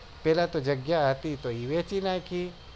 પેલા તો જગ્યા હતી તો એ વેચી નાખી